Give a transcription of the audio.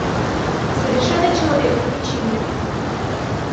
совершенный человек включи мне